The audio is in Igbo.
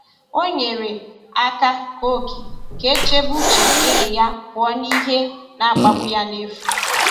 Ọ nyere aka kee ókè ka e chebe uche enyi ya pụọ n’ihe na-akpagbu ya n’efu.